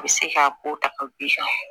A bɛ se k'a ko ta ka b'i kan